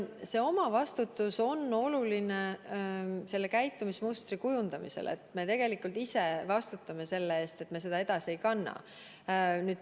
See omavastutus on oluline käitumismustri kujundamisel – tegelikult me ise vastutame selle eest, et me nakkust edasi ei kanna.